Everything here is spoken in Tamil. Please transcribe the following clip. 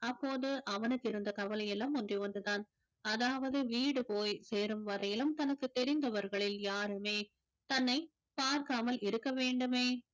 அப்போது அவனுக்கு இருந்த கவலை எல்லாம் ஒன்றே ஒன்றுதான் அதாவது வீடு போய் சேரும் வரையிலும் தனக்குத் தெரிந்தவர்களில் யாருமே தன்னை பார்க்காமல் இருக்க வேண்டுமே